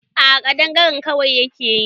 A'a kadangare kwai yake yi